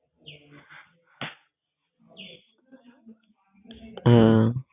আহ